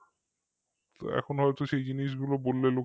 এখন হয়তো সেই জিনিসগুলো বললে লোকে হাসবে